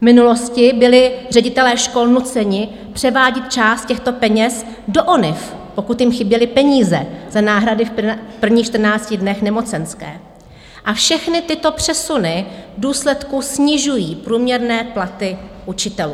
V minulosti byli ředitelé škol nuceni převádět část těchto peněz do ONIV, pokud jim chyběly peníze za náhrady v prvních 14 dnech nemocenské, a všechny tyto přesuny v důsledku snižují průměrné platy učitelů.